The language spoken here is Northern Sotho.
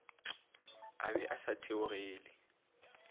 a be a sa theogele